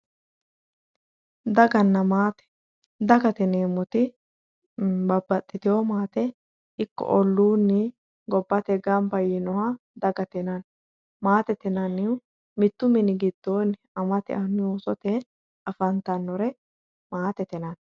Daganna maate, dagate yineemmoti babbaxitewo maate ikko ollunni gobbate gamba yinooha dagate yinnanni maatete yinnannihu mitu mini giddoni amate annu afantanore maatete yinnanni.